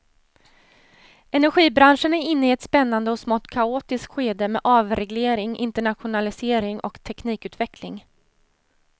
Energibranschen är inne i ett spännande och smått kaotiskt skede med avreglering, internationalisering och teknikutveckling.